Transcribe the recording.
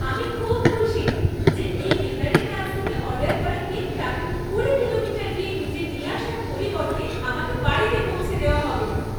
আমি খুব খুশি, যে এই বেকারের কাছ থেকে অর্ডার করা কেকটা কুড়ি কিলোমিটার গিয়ে নিজে নিয়ে আসার পরিবর্তে আমাকে বাড়িতে পৌঁছে দেওয়া হবে।